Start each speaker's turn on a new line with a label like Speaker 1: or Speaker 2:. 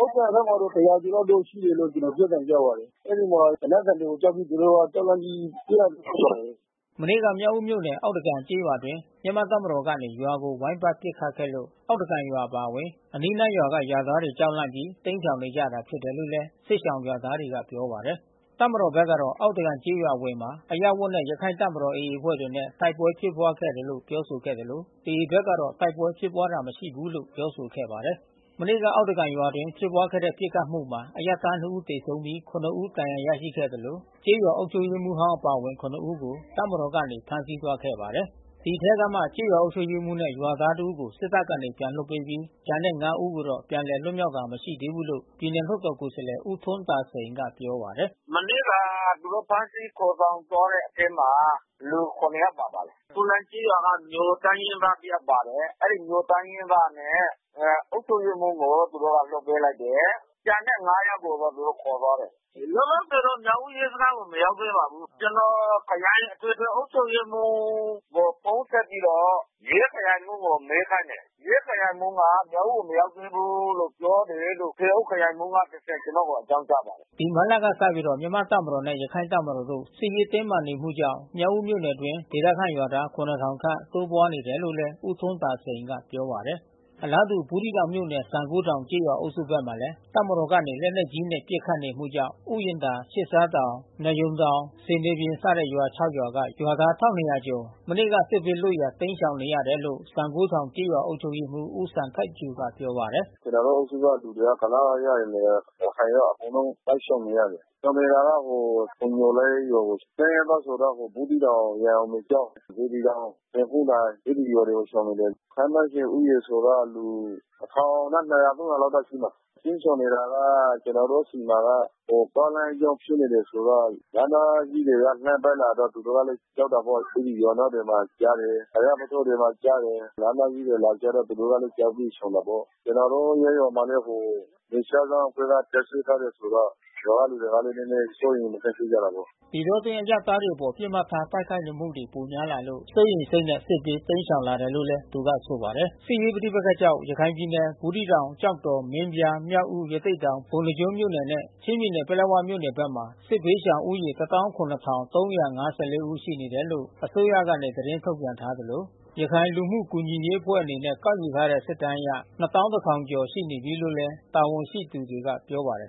Speaker 1: ဥက္ကံဘက်မှာတော့ ၁၀၀ ကျော်ရှိတယ်လို့ ပြောသံကြားပါတယ်။ အဲဒီမှာ သူတို့ သေနတ်သံတွေကို ကြောက်ပြီး သူတို့က ကြောက်လန့်ပြီး ပြေးလာတာ ဖြစ်ပါတယ်။”
Speaker 2: မနေ့က မြောက်ဦးမြို့နယ် အောက်သကန်ကျေးရွာအတွင်း မြန်မာတပ်မတော်ကနေ ရွာကို ဝိုင်းပတ်ပစ်ခတ်ခဲ့လို့ အောက်သကန်ရွာ အပါအဝင် အနီးနားရွာက ရွာသားတွေကြောက်လန့်ပြီး တိမ်းရှောင်နေကြတာ ဖြစ်တယ်လို့ စစ်ရှောင်ရွာသားတွေက ပြောပါတယ်။ တပ်မတော်ဘက်ကတော့ အောက်သကန်ကျေးရွာ အဝင်မှာ အရပ်ဝတ်နဲ့ ရခိုင့်တပ်မတော် AA အဖွဲ့တွေနဲ့ တိုက်ပွဲ ဖြစ်ခဲ့တာလို့ ပြောဆိုခဲ့သလို AA ဘက်ကတော့ တိုက်ပွဲဖြစ်ပွါးတာ မရှိဘူးလို့ ပြောဆိုခဲ့ပါတယ်။ မနေ့က အောက်သားကန်ရွာအတွင်း ဖြစ်ပွါးတဲ့ပစ်ခတ်မှုမှာ အရပ်သား ၂ ဦး သေဆုံးပြီး ၇ ဦး ဒဏ်ရာရရှိခဲ့သလို ကျေးရွာအုပ်ချုပ်ရေးမှူးဟောင်း အပါအဝင်၇ ဦးကို တပ်မတော်ကနေ ဖမ်းဆီးသွားခဲ့ပါတယ်။ ဒီအထဲကမှ ကျေးရွာအုပ်ချုပ်ရေးမှူးနဲ့ ရွာသားတဦးကို စစ်တပ်ကနေ ပြန်လွှတ်ပေးပြီး ကျန်တဲ့ ၅ ဦးတော့ ပြန်လည် လွတ်မြောက်တာ မရှိသေးဘူးလို့ ပြည်နယ်လွှတ်တော်ကိုယ်စားလှယ် ဦးထွန်းသာစိန်က ပြောပါတယ်။
Speaker 1: “မနေ့က သူတို့ ဖမ်းဆီးခေါ်ဆောင်သွားတဲ့ အထဲမှာ လူ ၇ ယောက်ပါပါတယ်။ ခူလိုင်ကျေးရွာက မြိုတိုင်းရင်းသား တယောက် ပါပါတယ်။ အဲဒီ မြိုတိုင်းရင်းသားနဲ့ အုပ်ချုပ်ရေးမှူးကို သူတို့က လွှတ်ပေးလိုက်တယ်။ ကျန်တဲ့ ၅ ယောက်ကို သူတို့က ခေါ်သွားတယ်။ လောလောဆယ်တော့ မြောက်ဦး ရဲစခန်းကို မရောက်သေးပါဘူး။ ကျနော် ခရိုင်အထွေထွေ အုပ်ချုပ်ရေးမှူးကို ဖုန်းဆက်ပြီးတော့ ရဲခရိုင်မှူးကို မေးခိုင်းတယ်။ ရဲခရိုင်မှူးက မြောက်ဦးကိုမရောက်သေးဘူးလို့ ပြောတယ်လို့ ထွေအုပ်ခရိုင်အုပ်ချုပ်ရေးမှူးက တဆင့် ကျနော်ကို အကြောင်းကြားပါတယ်
Speaker 2: ။” ဒီမတ်လကစပြီး မြန်မာ့တပ်မတော်နဲ့ ရခိုင့်တပ်မတော်တို့ စစ်ရေးတင်းမာနေမှုကြောင့် မြောက်ဦးမြို့နယ်အတွင်း ဒေသခံရွာသား ၇၀၀၀ ခန့် တိုးပွါးနေတယ်လို့လည်း ဦးထွန်းသာစိန်က ပြောပါတယ်။ အလားတူ ဘူးသီးတောင်မြို့နယ် စံဂိုးထောင်ကျေးရွာအုပ်စုဘက်မှာလည်း တပ်မတော်ကနေ လက်နက်ကြီးတွေနဲ့ ပစ်ခတ်နေမှုကြောင့် ဥယာဉ်သာ၊ သျှစ်သျှားတောင်၊ နွားရုံတောင်၊ ဆင်သေပြင်စတဲ့ရွာ ၆ ရွာက ရွာသား ၁၂၀၀ ကျော် မနေ့က စစ်ဘေးလွတ်ရာတိမ်းရှောင်နေရတယ်လို့ စံဂိုးထောင်ကျေးရွာ အုပ်ချုပ်ရေးမှူး ဦးစံထိုက်ကျိုက ပြောပါတယ်။ “က
Speaker 3: ျနော်တို့ အုပ်စုက လူတွေက ကုလား အရပ်တွေရယ်၊ ရခိုင်ရော အကုန်လုံး စစ်ရှောင်နေရတယ်။ ရှောင်နေတာတော့ ဟိုဖုံညိုလိပ်တို့ တိုင်းရင်းသားတွေဆိုတော့ ဟိုဘူးသီးတောင် ရန်အောင်ပြင်ကျောင်း၊ စေတီတောင်၊ ဆင်ခုန်းတိုင် အဲဒီ ရွာကို ရှောင်နေတယ်။ ခန့်မှန်းခြေဦးရေဆိုတော့ လူ ၁၀၀၀နဲ့ ၂၀၀၊ ၃၀၀ လာက်တော့ရှိမယ်။ တိမ်းရှောင်နေတာက ကျွန်တော်တို့ဆီမှာက သွားလမ်းကြောင်း ဖြစ်နေတယ်ဆိုတော့ လက်နက်ကြီးတွေနဲ့ လှမ်းပစ်လာတော့ သူတို့ကလည်း ကြောက်တာပေါ့။ အဲဒီ ရွာအနားတွေမှာ ကျတယ်။ ဘုရားပုထိုးတွေမှာ ကျတယ်။ လက်နက်ကြီးတွေလာကျတော့ သူတို့ကလည်း ကြောက်ပြီးရှောင်တာပေါ့။ ကျွန်တော်တို့ ရပ်ရွာမှာလည်း ဟို နယ်ခြားစောင့်တပ်ဖွဲ့က တပ်စွဲထားတယ်ဆိုတော့ ရွာက လူတွေကလည်း နည်းနည်း စိုးရိမ်မကင်း ဖြစ်ကြတာပေါ့။
Speaker 2: ” ဒီတောအတွင်း အရပ်သားတွေအပေါ် ပစ်မှတ်ထား တိုက်ခိုက်မှုတွေ ပိုများလာလို့ စိုးရိမ်စိတ်နဲ့ စစ်ဘေး တိမ်းရှောင်လာတယ်လို့လည်း သူကဆိုပါတယ်။ စစ်ရေးပဋိပက္ခကြောင့် ရခိုင်ပြည်နယ် ဘူးသီးတောင်၊ ကျောက်တော်၊ မင်းပြား၊ မြောက်ဦး၊ ရသေ့တောင်၊ ပုဏ္ဏားကျွန်းမြို့နယ်နဲ့ ချင်းပြည်နယ်၊ ပလက်ဝမြို့နယ်ဘက်မှာ စစ်ဘေးရှောင်ဦးရေ ၁၇၃၅၄ ဦး ရှိနေတယ်လို့ အစိုးရကနေ ထုတ်ပြန်ထားသလို ရခိုင် လူမှုကူညီရေးအဖွဲ့အနေနဲ့ ကောက်ယူထားတဲ့ စစ်တမ်းအရ ၂၁၀၀၀ ကျော် ရှိနေတယ်လို့ တာဝန်ရှိသူတွေက ပြောပါတယ်